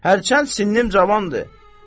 Hərçənd sinnim cavandır.